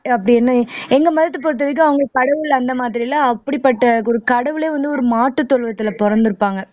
அப்படின்னு எங்க மதத்தை பொறுத்தவரைக்கும் அவங்களுக்கு கடவுள் அந்த மாதிரி எல்லாம் அப்படிப்பட்ட ஒரு கடவுளே வந்து ஒரு மாட்டு தொழுவத்துல பிறந்திருப்பாங்க